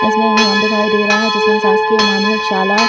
इसमें एक भवन दिखाई दे रहा है जिसमें शासकीय माध्यमिक शाला--